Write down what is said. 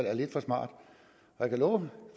er lidt for smart jeg kan love